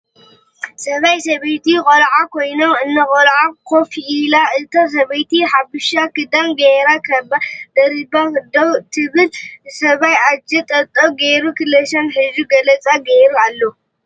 ስባይ ፣ ሰበይቲ ፣ ቆልዓ ኮይኖን እና ቆልዓ ኮፍ ኢላ እታ ሰብይቲ ሓብሻ ክዳን ጌራ ካባ ደሪባ ደው እት ስባይ እጀ ጠባብ ጌሩ ክላሽን ሒዙ ንፀላ ጌሩ ኣሎ።